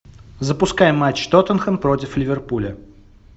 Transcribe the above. запускай матч тоттенхэм против ливерпуля